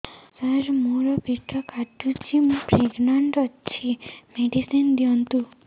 ସାର ମୋର ପେଟ କାଟୁଚି ମୁ ପ୍ରେଗନାଂଟ ଅଛି ମେଡିସିନ ଦିଅନ୍ତୁ